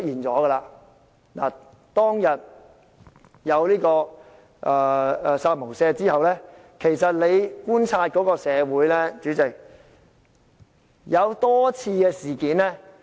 主席，當天出現"殺無赦"言論後，其實社會已發生多次事件......